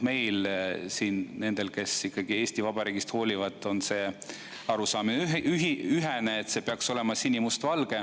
Meil siin – nendel, kes ikkagi Eesti Vabariigist hoolivad – on arusaamine ühene: see lipp peaks olema sinimustvalge.